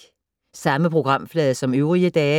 Samme programflade som øvrige dage